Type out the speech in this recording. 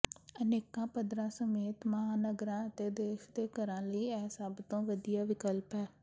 ਅਨੇਕਾਂ ਪੱਧਰਾਂ ਸਮੇਤ ਮਹਾਂਨਗਰਾਂ ਅਤੇ ਦੇਸ਼ ਦੇ ਘਰਾਂ ਲਈ ਇਹ ਸਭ ਤੋਂ ਵਧੀਆ ਵਿਕਲਪ ਹੈ